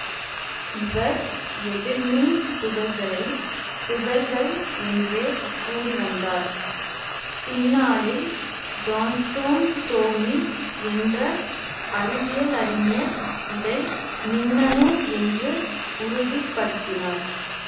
இவர் எதிர்மின் துகள்களைத் துகள்கள் என்றே கூறிவந்தார் பின்னாளில் ஜான்ஸ்டோன் ஸ்டோனி என்ற அறிவியலறிஞர் இதை மின்னணு என்று உறுதி படுத்தினார்